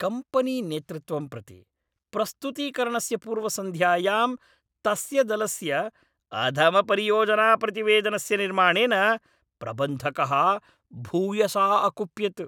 कम्पनीनेतृत्वं प्रति प्रस्तुतीकरणस्य पूर्वसन्ध्यायां तस्य दलस्य अधमपरियोजनाप्रतिवेदनस्य निर्माणेन प्रबन्धकः भूयसा अकुप्यत्।